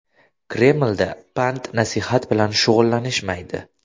Kremlda pand-nasihat bilan shug‘ullanishmaydi.